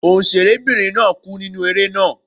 Òǹṣẹ̀rẹ́ bìnrin náà kú nínú eré náà.